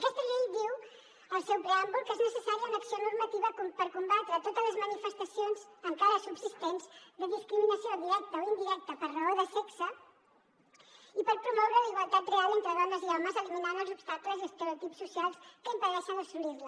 aquesta llei diu al seu preàmbul que és necessària una acció normativa per combatre totes les manifestacions encara subsistents de discriminació directa o indirecta per raó de sexe i per promoure la igualtat real entre dones i homes eliminant els obstacles i estereotips socials que impedeixen assolir la